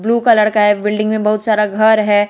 Blue colour का एक building में बहुत सारा घर है।